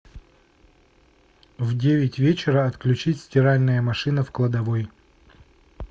в девять вечера отключить стиральная машина в кладовой